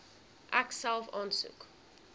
ek self aansoek